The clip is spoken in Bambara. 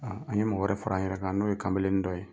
Aa an ye mɔgɔ wɛrɛ fara an yɛrɛ kan n'o ye kamalennin dɔ ye